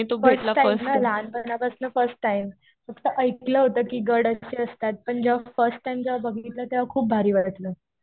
First time ना. लहानपणापासून first time. असं ऐकलं होतं कि गड असे असतात. पण जेव्हा फर्स्ट टाइम जेव्हा बघितलं तेव्हा खूप भारी वाटलं.